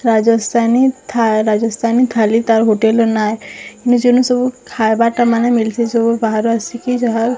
ରାଜସ୍ତାନୀ ଥା ରାଜସ୍ତାନୀ ଥାଲି ତାର୍ ହୋଟେଲ୍ ର ନାଁ ଏ ଇନୁ ଯେନୁ ସବୁ ଖାଇବାରଟା ମାନେ ମିଲଛେ ସବୁ ବାହାରୁ ଆସିକି ଯାହା --